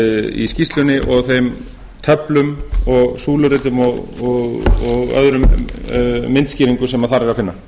í skýrslunni og þeim töflum og súluritum og öðrum myndskýringum sem